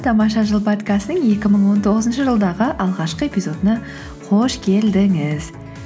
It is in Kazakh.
тамаша жыл подкастының екі мың он тоғызыншы жылдағы алғашқы эпизодына қош келдіңіз